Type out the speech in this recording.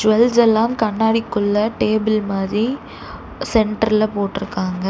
Jewels எல்லாம் கண்ணாடிக்குள்ள table மாரி சென்டர்ல போட்ருக்காங்க.